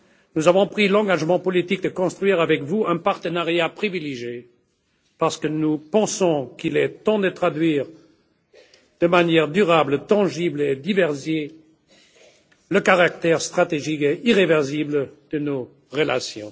Nous avons pris l'engagement politique de construire avec vous un partenariat privilégié parce que nous pensons qu'il est temps de traduire de manière durable, tangible et diversifiée, le caractère stratégique et irréversible de nos relations.